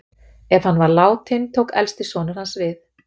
Ef hann var látinn tók elsti sonur hans við.